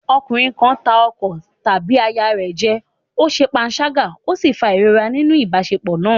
Ọkùnrin kan ń tàn ọkọ tàbí aya rẹ̀ jẹ, ó ṣe panṣágà ó sì ń fa ìrora nínú ìbáṣepọ̀ náà.